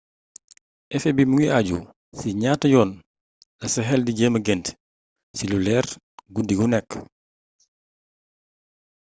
efet bi mu ngi àju ci si ñaata yoon la sa xel di jëma gént ci lu leer guddi gu nekk